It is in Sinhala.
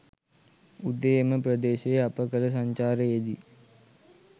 උදේ එම ප්‍රදේශයේ අප කළ සංචාරයේදී